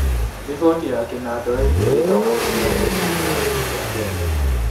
Riboti ya kĩnandũ ĩgiĩ gĩthomo gĩtiganĩte gĩcunjĩ-inĩ kĩa Kenya.